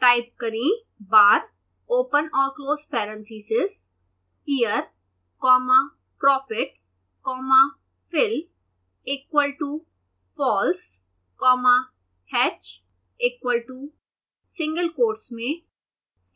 type करें bar open और close parentheses year comma profit comma fill equal to false comma hatch equal to single quotes में